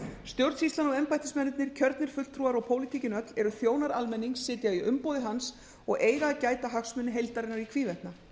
stjórnsýslan og embættismennirnir kjörnir fulltrúar og pólitíkin öll eru þjónar almennings sitja í umboði hans og eiga að gæta hagsmuna heildarinnar í hvívetna